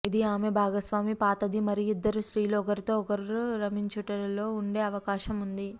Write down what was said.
ఇది ఆమె భాగస్వామి పాతది మరియు ఇద్దరు స్త్రీలు ఒకరితో ఒకరు రమించుట లో ఉండే అవకాశం ఉంది